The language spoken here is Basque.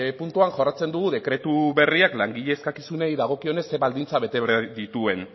puntuan jorratzen dugu dekretu berriak langile eskakizunei dagokionez zer baldintza bete behar dituen